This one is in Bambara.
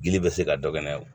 Gili bɛ se ka dɔ kɛ n'a ye